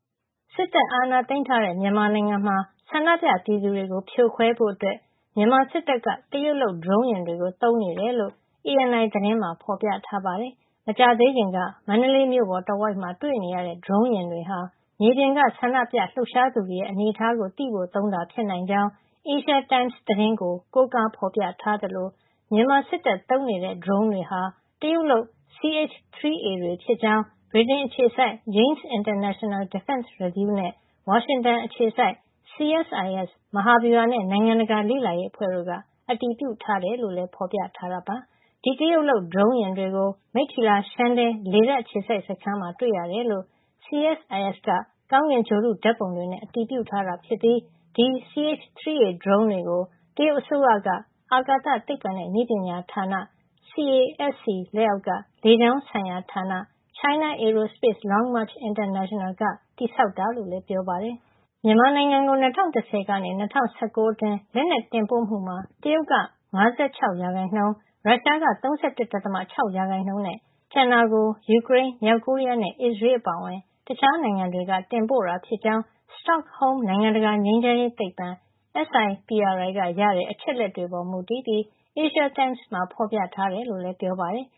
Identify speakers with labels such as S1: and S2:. S1: စစ်တပ်အာဏာသိမ်းထားတဲ့ မြန်မာနိုင်ငံမှာ ဖြိုခွဲဖို့အတွက် မြန်မာစစ်တပ်က တရုတ်လုပ် ဒရုန်းယာဉ်တွေကို သုံးနေတယ်လို့ ANI သတင်းမှာ ဖော်ပြထားပါတယ်။ မကြာသေးခင်က မန္တလေးမြို့ပေါ်တဝိုက်မှာ တွေ့နေရတဲ့ ဒရုန်းယာဉ်တွေဟာ မြေပြင်က ဆန္ဒပြလှုပ်ရှားသူတွေရဲ့ အနေထားကိုသိဖို့ သုံးတာဖြစ်နိုင်ကြောင်း Asia Time သတင်းကို ကိုးကားဖော်ပြထားသလို မြန်မာစစ်တပ်သုံးနေတဲ့ ဒရုန်းတွေဟာ တရုတ်လုပ် CH-3A တွေဖြစ်ကြောင်း ဗြိတိန်အခြေစိုက် Janes International Defense Review နဲ့ ဝါရှင်တန်အခြေစိုက် CSIS မဟာဗျူဟာနဲ့ နိုင်ငံတကာ လေ့လာရေးအဖွဲ့တို့က အတည်ပြုထားတယ်လို့လည်း ဖော်ပြထားပါတယ်။ ဒီတရုတ်ဒရုန်းယာဉ်တွေကို မိတ္ထီလာ ရှမ်းတဲ လေတပ်အခြေစိုက်စခန်းမှာ တွေ့ရတယ်လို့ CSIS က ကောင်းကင်ဂြိုဟ်တုဓာတ်ပုံတွေနဲ့ အတည်ပြုထားတာ ဖြစ်ပြီး ဒီ CH-3A ဒရုန်းတွေကို တရုတ်အစိုးရ အာကာသသိပ္ပံနဲ့ နည်းပညာဌာန CASC လက်အောက်က လေကြောင်းဆိုင်ရာဌာန China Aerospace Long-March International က တည်ဆောက်တာလို့လည်း ပြောပါတယ်။ မြန်မာနိုင်ငံကို ၂၀၁၀ ကနေ ၂၀၁၉ အတွင်း လက်နက်တင်ပို့မှုမှာ တရုတ်က ၅၆ ရာခိုင်နှုန်း၊ ရုရှားက ၃၁.၆ ရာခိုင်နှုန်းနဲ့ ကျန်တာကို ယူကရိန်း၊ မြောက်ကိုရီးယားနဲ့ အစ္စရေး အပါအဝင် တခြားနိုင်ငံတွေက တင်ပို့တာဖြစ်ကြောင်း စတော့ဟုမ်း နိုင်ငံတကာ ငြိမ်းချမ်းရေးသိပ္ပံ SIPRI ကရတဲ့ အချက်အလက်တွေပေါ် မူတည်ပြီး Asia Times မှာ ဖော်ပြထားတယ်လို့လည်း ပြောပါတယ်။